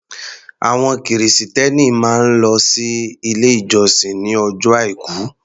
Àwọn Kìrìsìtẹ́ẹ́nì máa ń lọ sí ilé ìjọsìn ní ọjọ́ Àìkú.